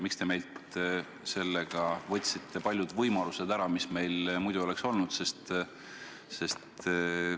Miks te võtsite meilt sellega ära paljud võimalused, mis meil muidu oleks olnud?